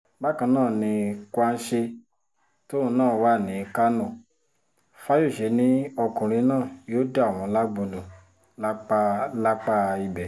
bákan náà ni kwanse tóun náà wà ní kánò fayose ni ọkùnrin náà yóò dà wọ́n lágbo nù lápá lápá ibẹ̀